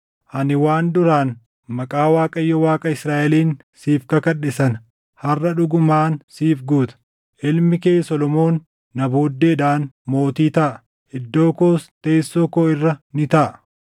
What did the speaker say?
ani waan duraan maqaa Waaqayyo Waaqa Israaʼeliin siif kakadhe sana harʼa dhugumaan siif guuta. Ilmi kee Solomoon na booddeedhaan mootii taʼa; iddoo koos teessoo koo irra ni taaʼa.”